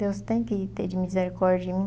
Deus tem que ter de misericórdia de mim.